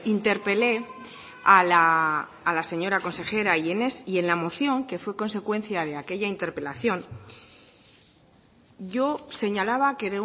interpelé a la señora consejera y en la moción que fue consecuencia de aquella interpelación yo señalaba que